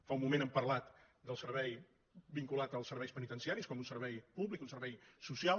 fa un moment hem parlat del servei vinculat als serveis penitenciaris com un servei públic un servei social